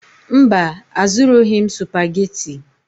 Mba, azụrụghị m Supagetii.